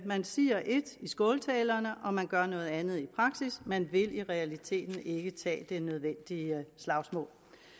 man siger ét i skåltalerne og man gør noget andet i praksis man vil i realiteten ikke tage det nødvendige slagsmål